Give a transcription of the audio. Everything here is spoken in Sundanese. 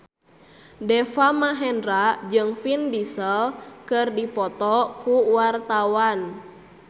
Deva Mahendra jeung Vin Diesel keur dipoto ku wartawan